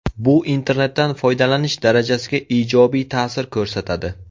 Bu internetdan foydalanish darajasiga ijobiy ta’sir ko‘rsatadi.